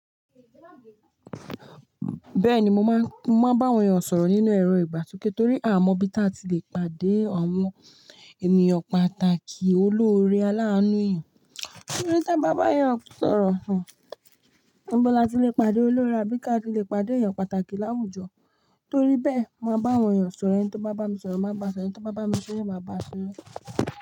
Bẹ́ẹ̀ni, mo máa ń bá àwọn èèyàn sọ̀rọ̀ nínú ẹ̀rọ ìbàsoke torí a mọ bí ta ti le pàdé àwọn ènìyàn pàtàkì oloóre alàánú èèyàn. Kilode tí a bá bá èèyàn sọ̀rọ̀, ibo lati le pàdé olórín àbí ká tí le pàdé èèyàn pàtàkì láwùjọ. Torí bẹ́ẹ̀, mo máa bá àwọn èèyàn sọ̀rọ̀, ẹni tí ó bá bá mi sọ̀rọ̀, màá bá a sọ̀rọ̀, ẹni tí ó bá bá mi sere, màá bá a sere.